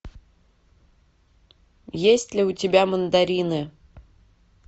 есть ли у тебя мандарины